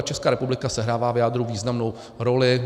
A Česká republika sehrává v jádru významnou roli.